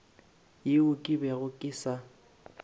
yeo ke bego ke sa